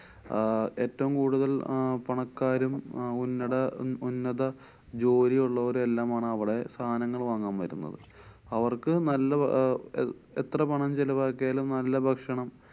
ആഹ് ഏറ്റവും കൂടുതല്‍ അഹ് പണക്കാരും അഹ് ഉന്നത~ ഉന്നത ജോലിയുള്ളവരും എല്ലാം ആണ് അവടെ സാനങ്ങള്‍ വാങ്ങാന്‍ വരുന്നത്. അവര്‍ക്ക് നല്ല അഹ് എത്ര പണം ചെലവാക്കിയാലും നല്ല ഭക്ഷണം